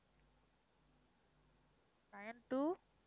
nine two